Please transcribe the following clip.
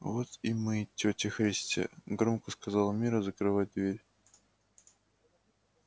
вот и мы тётя христя громко сказала мирра закрывая дверь